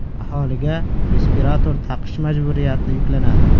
Aholiga respirator taqish majburiyati yuklanadi.